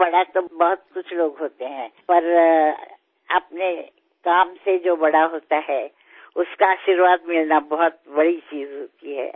বয়সে তো অনেকেই বড় হন কিন্তু নিজের কাজ দিয়ে যিনি বড় হন তাঁর আশীর্বাদ পাওয়াটাই খুব বড় পাওয়া